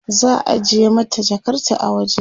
za'a ajiye mata Jakarta a waje